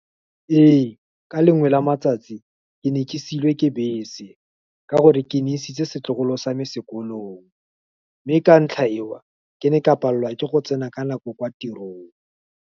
Ee, ka lengwe la matsatsi, ke ne ke seiwe ke bese, ka gore ke ne isitse setlogolo same sekolong, mme ka ntlha e wa, ke ne ka palelwa ke go tsena ka nako kwa tirong.